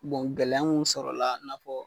gɛlɛya minnu sɔrɔla i n'a fɔ.